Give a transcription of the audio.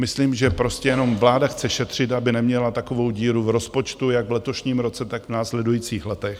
Myslím, že prostě jenom vláda chce šetřit, aby neměla takovou díru v rozpočtu jak v letošním roce, tak v následujících letech.